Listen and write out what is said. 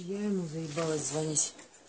я ему заебалась звонить